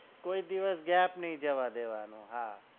કોઈ દિવસ gap નઈ જવા દેવાનું હા